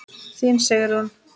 Þín, Sigrún.